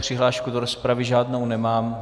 Přihlášku do rozpravy žádnou nemám.